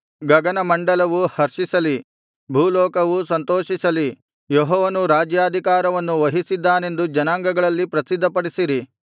ಗಗನಮಂಡಲವು ಹರ್ಷಿಸಲಿ ಭೂಲೋಕವು ಸಂತೋಷಿಸಲಿ ಯೆಹೋವನು ರಾಜ್ಯಾಧಿಕಾರವನ್ನು ವಹಿಸಿದ್ದಾನೆಂದು ಜನಾಂಗಗಳಲ್ಲಿ ಪ್ರಸಿದ್ಧಪಡಿಸಿರಿ